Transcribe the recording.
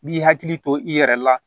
B'i hakili to i yɛrɛ la